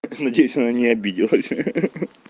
так надеюсь она не обиделась ха-ха